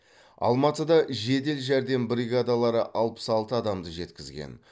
алматыда жедел жәрдем бригадалары алпыс алты адамды жеткізген